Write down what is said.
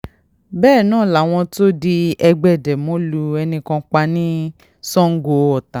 bẹ́ẹ̀ náà làwọn tóòdì ẹgbẹ́ demo lu ẹnì kan pa ní sango-ọta